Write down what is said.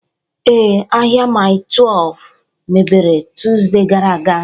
Ee, ahịa Mile 12 mepere Tọzdee gara aga